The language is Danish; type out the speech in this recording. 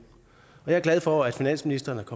og jeg er glad for at finansministeren